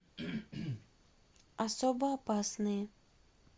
особо опасные